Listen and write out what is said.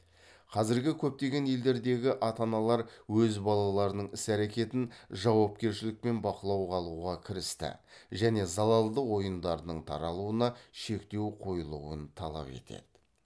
қазіргі көптеген елдердегі ата аналар өз балаларының іс әрекетін жауапкершілікпен бақылауға алуға кірісті және залалды ойындардың таралуына шектеу қоюылуын талап етеді